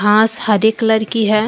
घास हरी कलर की है।